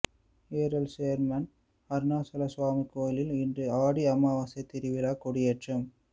Eral chairman Arunachala Swami கோயிலில் இன்று ஆடி அமாவாசை திருவிழா கொடியேற்றம்